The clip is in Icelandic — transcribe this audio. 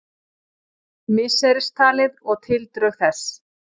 misseristalið og tildrög þess